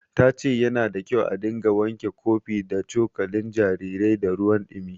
Ta ce yana da kyau a dinga wanke kofi da cokalin jarirai da ruwan ɗumi.